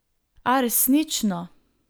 A resnično.